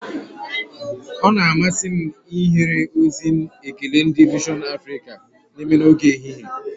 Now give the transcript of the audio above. Ọ na-amasị m ihere ozi ekele nke ndị vision Africa na-eme n'oge ehihie